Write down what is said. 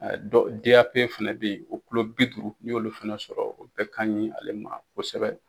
fana bɛ yen o bi duuru ni y'olu fana sɔrɔ o bɛɛ ka ɲi ale ma kosɛbɛ.